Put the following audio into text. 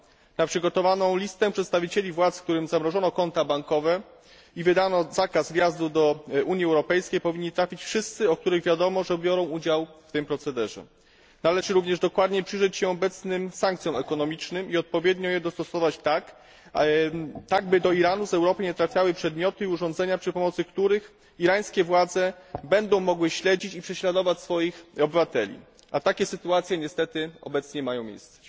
Na przygotowaną listę przedstawicieli władz, którym zamrożono konta bankowe i wydano zakaz wjazdu do Unii Europejskiej, powinni trafić wszyscy, o których wiadomo, że biorą udział w tym procederze. Należy również dokładnie przyjrzeć się obecnym sankcjom ekonomicznym i odpowiednio je dostosować tak, aby do Iranu z Europy nie trafiały przedmioty i urządzenia, za pomocą których irańskie władze będą mogły śledzić i prześladować swoich obywateli a takie sytuacje niestety obecnie mają miejsce.